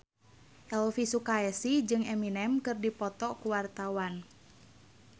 Elvi Sukaesih jeung Eminem keur dipoto ku wartawan